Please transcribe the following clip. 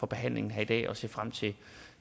behandlingen her i dag og se frem til